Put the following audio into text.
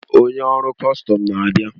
Onye ọrụ kọstọm na-abịa.